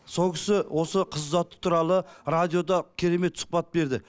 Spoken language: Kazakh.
сол кісі осы қыз ұзату туралы радиода керемет сұхбат берді